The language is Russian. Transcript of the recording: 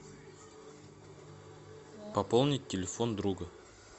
пополнить телефон друга